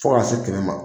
Fo ka se kɛmɛ ma